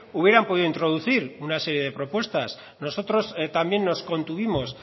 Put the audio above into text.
hubieran podido introducir una serie de propuestas nosotros también nos contuvimos